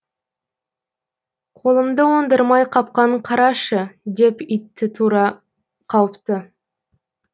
қолымды оңдырмай қапқанын қарашы деп итті тұра қауыпты